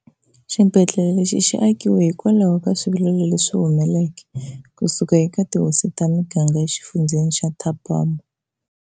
Xibedlele lexi xi akiwe hikwalaho ka swivilelo leswi humeke kusuka eka tihosi ta miganga e xifundzeni xa Thabamoopo.